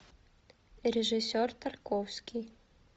режиссер тарковский